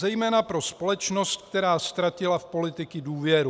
Zejména pro společnost, která ztratila v politiky důvěru.